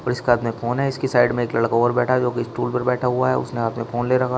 और इसका हाथ में फोन है। इसकी साइड में एक लड़का और बैठा है जो कि स्टूल पर बैठा हुआ है। उसने हाथ में फोन ले रखा --